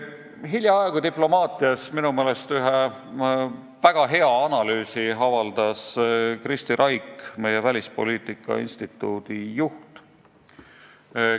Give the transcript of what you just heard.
Hiljaaegu avaldas Diplomaatias väga hea analüüsi Kristi Raik, meie välispoliitika instituudi juht.